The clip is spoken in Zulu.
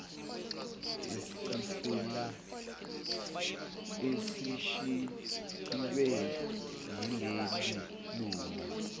esisele esishiywe yilelilunga